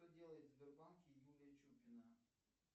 что делает в сбербанке юлия чупина